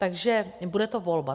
Takže bude to volba.